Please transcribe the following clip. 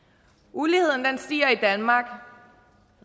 uligheden stiger i danmark